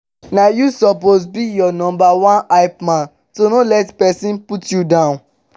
na yu soppose be yur nomba one hypeman so no let pesin put yu down